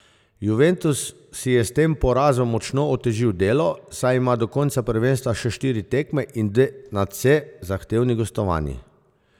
Juventus si je s tem porazom močno otežil delo, saj ima do konca prvenstva še štiri tekme in dve nadvse zahtevni gostovanji.